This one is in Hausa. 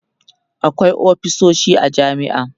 akwai ofisoshi a jami'a